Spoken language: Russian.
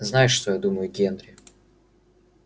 знаешь что я думаю генри